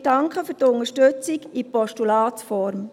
Wir danken für die Unterstützung in Postulatsform.